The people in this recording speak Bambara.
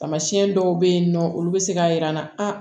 Tamasiyɛn dɔw bɛ yen nɔ olu bɛ se k'a yir'an na a